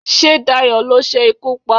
sé Dayo lo se ikú pa